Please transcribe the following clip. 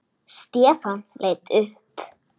Stefán leit upp.